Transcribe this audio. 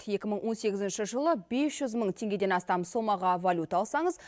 екі мың он сегізінші жылы бес жүз мың теңгеден астам соммаға валюта алсаңыз